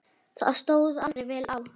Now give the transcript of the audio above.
Það stóð aldrei vel á.